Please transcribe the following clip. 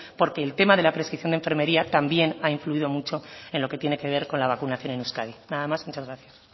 porque el tema de la prescripción de enfermería también ha influido mucho en lo que tiene que ver con la vacunación en euskadi nada más muchas gracias